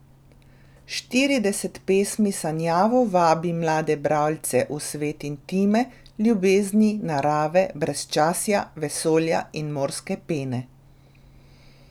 Štirideset pesmi sanjavo vabi mlade bralce v svet intime, ljubezni, narave, brezčasja, vesolja in morske pene.